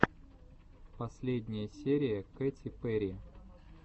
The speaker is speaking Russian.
последняя серия кэти перри